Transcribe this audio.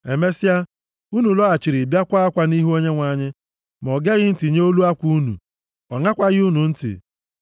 Emesịa, unu lọghachiri bịa kwaa akwa nʼihu Onyenwe anyị, ma o geghị ntị nye olu akwa unu, ọ ṅakwaghị unu ntị.